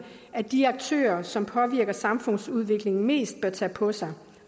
at de aktører som påvirker samfundsudviklingen mest bør tage på sig